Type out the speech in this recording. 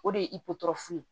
O de ye ye